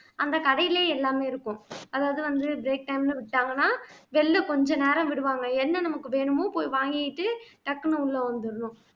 அந்த கடையிலே எல்லாமே இருக்கும் அதாவது வந்து break time ல விட்டாங்கன்னா வெளியிலே கொஞ்ச நேரம் விடுவாங்க என்ன நமக்கு வேணுமோ போய் வாங்கிட்டு டக்குன்னு உள்ளே வந்துடனும்